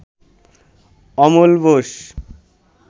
Amal Bose